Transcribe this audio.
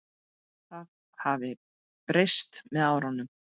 Það hafi breyst með árunum.